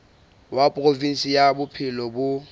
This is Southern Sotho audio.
wa provinse ya bophelo bo